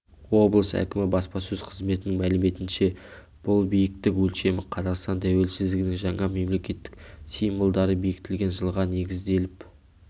облыс әкімі баспасөз қызметінің мәліметінше бұл биіктік өлшемі қазақстан тәуелсіздігінің жаңа мемлекетік символдары бекітілген жылға негізделіп